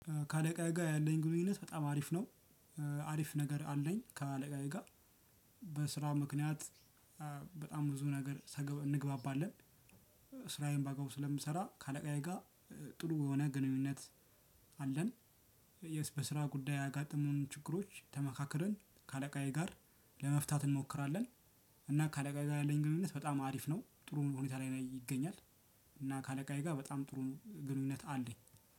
ከአለቃዬ ጋር ያለግ ግንኙነት በጣም አሪፍ ነው። አሪፍ ነገር አለኝ ከአለቃዬ ጋር። በስራ ምክንያት በጣም ብዙ ነገር እግባባለን። ስራዬን ባግባቡ ስለምሰራ ከአለቃዬ ጋር ጥሩ የሆነ ግንኙነት አለን። የስ በስራ ጉዳይ ያጋጠሙን ችግሮች ተመካክረን ከአለቃዬ ጋር ለመፍታት እንሞክራለን። እና ከአለቃ ጋር ያለኝ ግንኙነት በጣም አሪፍ ነው ጥሩ ሁኔታ ላይ ይገኛል። እና ከአለቃዬ ጋር በጣም ጥሩ ግንኙነት አለኝ።